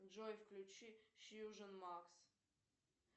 джой включи фьюжн макс